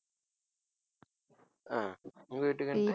ஆஹ் உங்க வீட்டுக்கு வந்து~